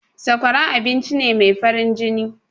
Sakwara abincine mai farin jini.